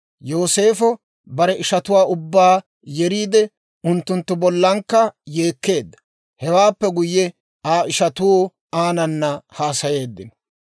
Yooseefo bare ishatuwaa ubbaa yeriide, unttunttu bollankka yeekkeedda. Hewaappe guyye, Aa ishatuu aanana haasayeeddino.